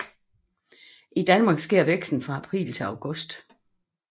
I Danmark sker væksten fra april til august